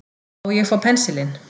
Má ég fá pensilinn.